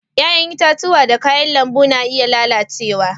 Yayan itatuwa da kayan lambu na iya lallacewa.